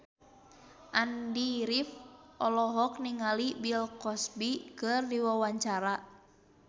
Andy rif olohok ningali Bill Cosby keur diwawancara